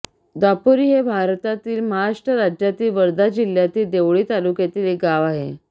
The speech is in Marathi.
दापोरी हे भारतातील महाराष्ट्र राज्यातील वर्धा जिल्ह्यातील देवळी तालुक्यातील एक गाव आहे